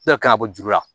Dɔ kan ka bɔ juru la